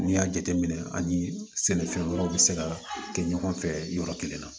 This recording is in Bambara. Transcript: N'i y'a jateminɛ ani sɛnɛfɛn wɛrɛw bɛ se ka kɛ ɲɔgɔn fɛ yɔrɔ kelen na